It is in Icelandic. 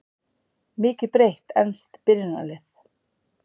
Mikið breytt enskt byrjunarlið